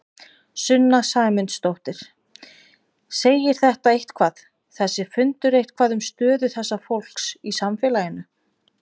Sunna Sæmundsdóttir: Segir þetta eitthvað, þessi fundur eitthvað um stöðu þessa fólks í samfélaginu?